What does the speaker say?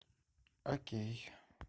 окей